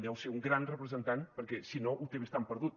deu ser un gran representant perquè si no ho té bastant perdut